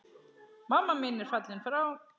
Mamma mín er fallin frá.